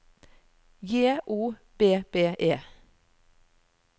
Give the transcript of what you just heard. J O B B E